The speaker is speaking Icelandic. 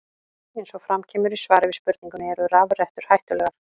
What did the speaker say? Eins og fram kemur í svari við spurningunni Eru rafrettur hættulegar?